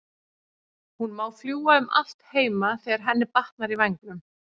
Hún má fljúga um allt heima þegar henni batnar í vængnum.